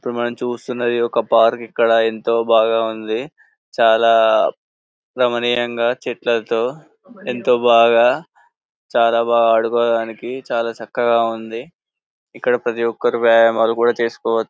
ఇప్పుడు మనం చూస్తున్నది ఒక పార్క్ ఇక్కడ ఎంతో బాగుంది చాలా రమనీయంగా చెట్లతో ఎంతో బాగా చాలా బాగా ఆడుకోవడానికి చాలా చక్కగా ఉంది ఇక్కడ ప్రతి ఒక్కరూ వ్యాయామం చేసుకోవ--